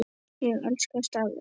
Ég elska starfið mitt.